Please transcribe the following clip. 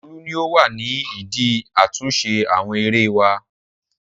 Olú ni ó wà ní ìdí àtúnṣe àwọn erée wá.